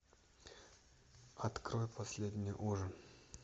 открой последний ужин